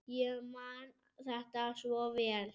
Ég man þetta svo vel.